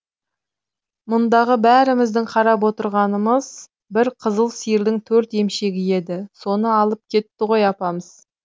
мұндағы бәріміздің қарап отырғанымыз бір қызыл сиырдың төрт емшегі еді соны алып кетті ғой апамыз